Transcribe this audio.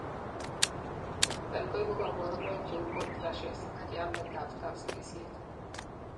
niton koibu kaborunoik cheu hot flashes ak yamet ab kapsigisiet